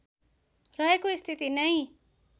रहेको स्थिति नै